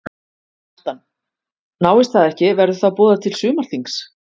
Kjartan: Náist það ekki verður þá boðað til sumarþings?